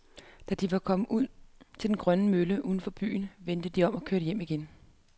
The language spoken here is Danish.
Da de var kommet ud til den gamle mølle uden for byen, vendte de om og kørte hjem igen.